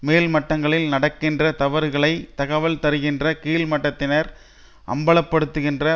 மேல்மட்டங்களில் நடக்கின்ற தவறுகளை தகவல் தருகின்ற கீழ்மட்டத்தினர் அம்பலப்படுத்துகின்ற